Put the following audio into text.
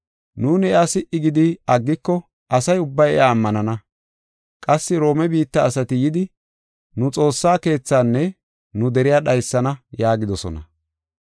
Nuuni iya si77i gidi aggiko asa ubbay iya ammanana. Qassi Roome biitta asati yidi nu xoossa keethaanne nu deriya dhaysana” yaagidosona.